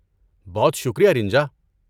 بہت شکریہ رِنجا